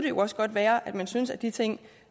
jo også godt være at man synes at de ting